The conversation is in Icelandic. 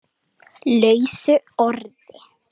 lausu orði